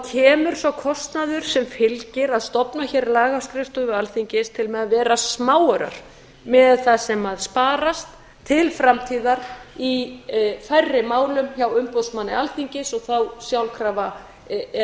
kemur sá kostnaður sem fylgir að stofna hér lagaskrifstofu alþingis til með að vera smáaurar miðað við það sem sparast til framtíðar í færri málum hjá umboðsmanni alþingis og þá sjálfkrafa er